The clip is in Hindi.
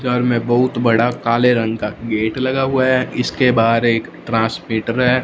घर में बहुत बड़ा काले रंग का गेट लगा हुआ है इसके बाहर एक ट्रांसमीटर है।